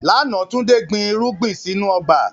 Lánà, Túndé gbìn irugbin sínu ọgba.